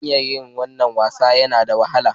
Hanyar yin wannan wasan yana da wahala.